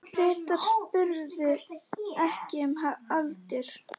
Bretar spurðu ekki um aldur.